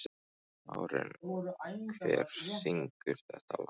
Marín, hver syngur þetta lag?